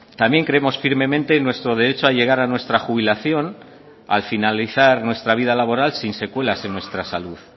también creemos firmemente en nuestro derecho a llegar a nuestra jubilación al finalizar nuestra vida laboral sin secuelas en nuestra salud